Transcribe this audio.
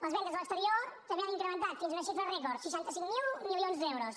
les vendes a l’exterior també han incrementat fins a una xifra rècord seixanta cinc mil milions d’euros